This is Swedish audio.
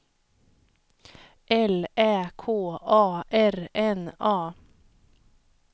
L Ä K A R N A